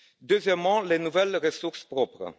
Deuxièmement, les nouvelles ressources propres.